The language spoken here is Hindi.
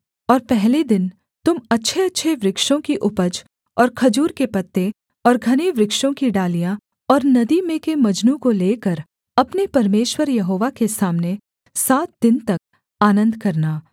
और पहले दिन तुम अच्छेअच्छे वृक्षों की उपज और खजूर के पत्ते और घने वृक्षों की डालियाँ और नदी में के मजनू को लेकर अपने परमेश्वर यहोवा के सामने सात दिन तक आनन्द करना